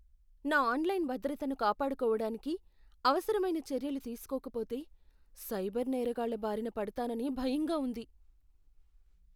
నా ఆన్లైన్ భద్రతను కాపాడుకోవడానికి అవసరమైన చర్యలు తీసుకోకపోతే, సైబర్ నేరగాళ్ల బారిన పడతానని భయంగా ఉంది.